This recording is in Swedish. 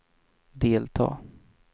delta